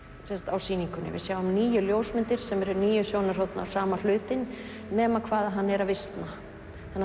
á sýningunni við sjáum níu ljósmyndir sem eru níu sjónarhorn af sama hlutnum nema hvað hann er að visna þannig